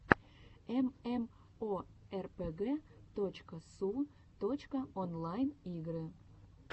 эмэмоэрпэгэ точка су точка онлайн игры